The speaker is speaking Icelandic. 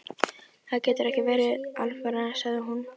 Þér getur ekki verið alvara, sagði hún.